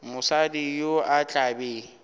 mosadi yo o tla be